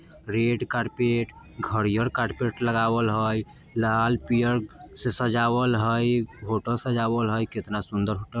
red carpet हरियर carpet लगावल हई लाल-पियर से सजावल हई होटल सजावल हई केतना सुंदर होट --